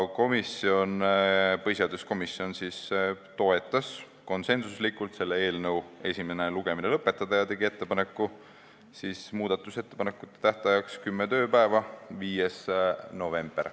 Põhiseaduskomisjon toetas konsensuslikult selle eelnõu esimese lugemise lõpetamist ja tegi ettepaneku anda muudatusettepanekute esitamise tähtajaks kümme tööpäeva, seega tähtpäev on 5. november.